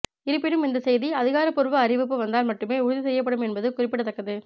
இருப்பினும் இந்த செய்தி அதிகாரபூர்வ அறிவிப்பு வந்தால் மட்டுமே உறுதி செய்யப்படும் என்பது குறிப்பிடத்தக்கது